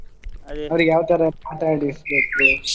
ಯಾವ್ ತರಾ ಮಾತಾಡಿಸ್ಬೇಕು.